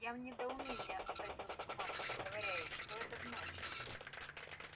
я в недоумении обратился к матушке говоря ей что это значит